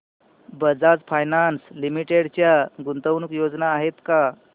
Bajaj finance limited च्या गुंतवणूक योजना आहेत का